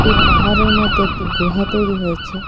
এই পাহাড়ের মধ্যে একটি গুহা তৈরি হয়েছে.